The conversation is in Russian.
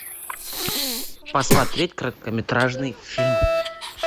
посмотреть короткометражный фильм